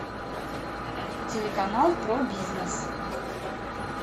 телеканал про бизнес